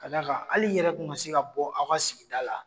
Ka da kan hali i yɛrɛ kun ka se ka bɔ aw ka sigida la